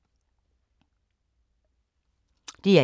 DR1